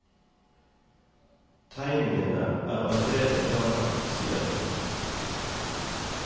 Tegningene er allerede klare, sier hun.